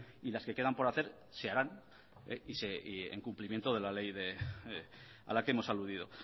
y las que quedan por hacer se harán en cumplimiento de la ley a la que hemos aludido